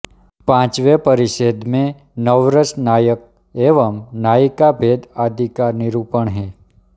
पाँचवें परिच्छेद में नव रस नायक एवं नायिका भेद आदि का निरूपण है